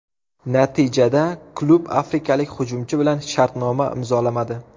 Natijada klub afrikalik hujumchi bilan shartnoma imzolamadi.